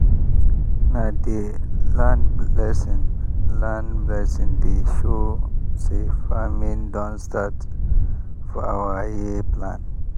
na di land blessing land blessing dey show say farming don start for our year plan.